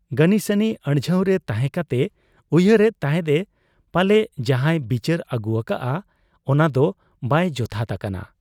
ᱜᱟᱹᱱᱤᱥᱟᱹᱱᱤ ᱟᱹᱲᱡᱷᱟᱹᱣᱨᱮ ᱛᱟᱦᱮᱸ ᱠᱟᱛᱮ ᱩᱭᱦᱟᱹᱨ ᱮᱫ ᱛᱟᱦᱮᱸᱫ ᱮ ᱯᱟᱞᱮ ᱡᱟᱦᱟᱸᱭ ᱵᱤᱪᱟᱹᱨ ᱟᱹᱜᱩ ᱟᱠᱟᱜ ᱟ, ᱚᱱᱟᱫᱚ ᱵᱟᱭ ᱡᱚᱛᱷᱟᱛ ᱟᱠᱟᱱᱟ ᱾